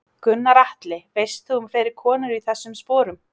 Gunnar Atli: Veist þú um fleiri konur í þessum sporum?